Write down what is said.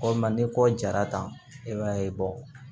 Walima ni kɔ jara ta i b'a ye